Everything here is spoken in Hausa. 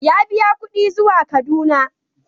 Ya biya kuɗi zuwa Kaduna.